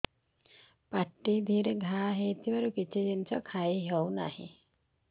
ପାଟିରେ ଘା ହେଇଛି ଖାଇ ହଉନି